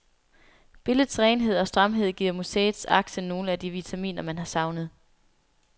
Billedets renhed og stramhed giver museets akse nogle af de vitaminer, man har savnet.